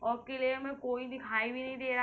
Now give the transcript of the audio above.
और किले में कोई दिखाई भी नहीं दे रह --